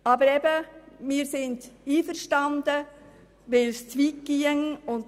Aber wir sind einverstanden, weil es sonst zu weit gehen würde.